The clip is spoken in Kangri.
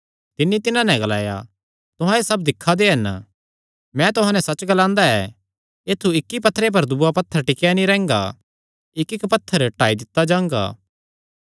तिन्नी तिन्हां नैं ग्लाया तुहां एह़ सब दिक्खा दे हन मैं तुहां नैं सच्च ग्लांदा ऐ ऐत्थु इक्की पत्थरे पर दूआ पत्थर टिकेया नीं रैंह्गा इक्कइक्क पत्थर ढाई दित्ता जांगा